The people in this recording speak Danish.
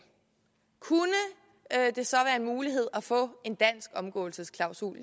kunne det så være en mulighed at få en dansk omgåelsesklausul